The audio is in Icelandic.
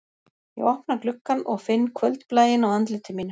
Ég opna gluggann og finn kvöldblæinn á andliti mínu